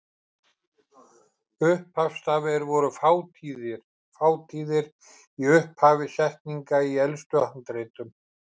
Upphafsstafir voru fátíðir í upphafi setninga í elstu handritum.